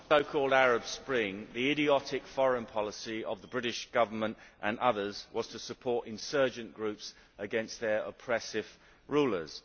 Mr President, the so called Arab Spring, the idiotic foreign policy of the British Government and others was to support insurgent groups against their oppressive rulers.